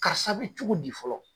Karisa bɛ cogo di fɔlɔ.